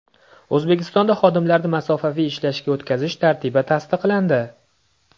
O‘zbekistonda xodimlarni masofaviy ishlashga o‘tkazish tartibi tasdiqlandi.